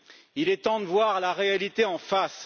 Il est temps de voir la réalité en face.